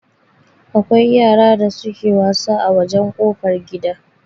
Akwai yara da suke wasa a wajan kofar gida